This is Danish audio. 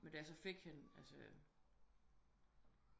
Men da jeg så fik hende altså